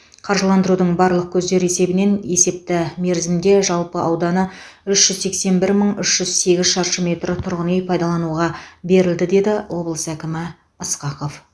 қаржыландырудың барлық көздері есебінен есепті мерзімде жалпы ауданы үш жүз сексен бір мың үш жүз сегіз шаршы метр тұрғын үй пайдалануға берілді деді облыс әкімі ысқақов